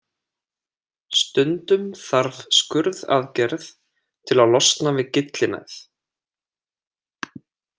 Stundum þarf skurðaðgerð til að losna við gyllinæð.